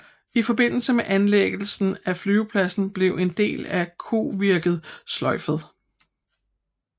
I forbindelse med anlæggelsen af flyvepladen blev en del af Kovirket sløjfet